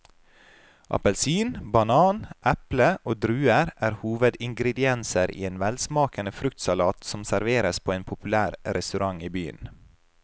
Appelsin, banan, eple og druer er hovedingredienser i en velsmakende fruktsalat som serveres på en populær restaurant i byen.